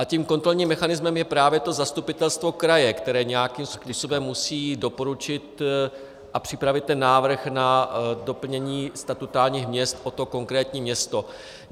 A tím kontrolním mechanismem je právě to zastupitelstvo kraje, které nějakým způsobem musí doporučit a připravit ten návrh na doplnění statutárních měst o to konkrétní město.